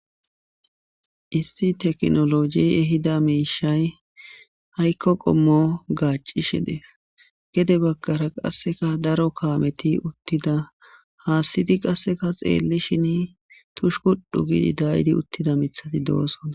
issi teknoloji ehida miishay haykko qommo gaacishe dees gede baggara qasseka daro kaameti uttida haassidi qasseka xeellishin tushukuddhu gidi daydi uttida mithadi doosona